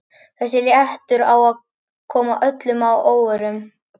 Þessi réttur á að koma öllum að óvörum.